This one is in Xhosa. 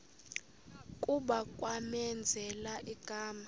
kuba kwamenzela igama